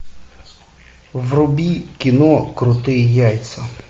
вруби кино крутые яйца